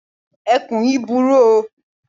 Ẹkùn yíì burú o.